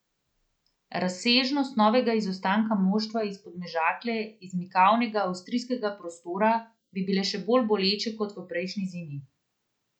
Razsežnosti novega izostanka moštva iz Podmežakle iz mikavnega avstrijskega prostora bi bile še bolj boleče kot v prejšnji zimi.